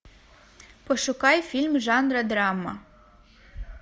пошукай фильм жанра драма